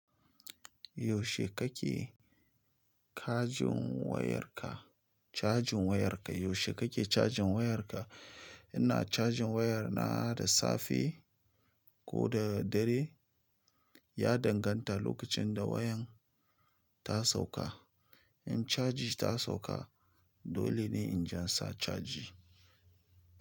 Yaushe kake cajin wayarka? Cajin wayarka yaushe kake cajin wayarka? Ina cajin wayar na da safe ko da dare ya danganta lokacin da wayan ta sauka. In caji ta sauka dole ne in jan sa caji.